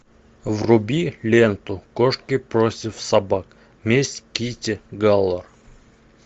вруби ленту кошки против собак месть китти галор